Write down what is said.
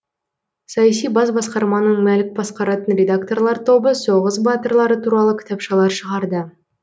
саяси бас басқарманың мәлік басқаратын редакторлар тобы соғыс батырлары туралы кітапшалар шығарды